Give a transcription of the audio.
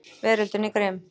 Veröldin er grimm.